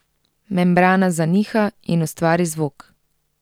Membrana zaniha in ustvari zvok.